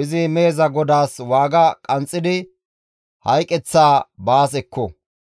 Izi meheza godaas waaga qanxxidi hayqeththaa baas ekko.